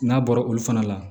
N'a bɔra olu fana la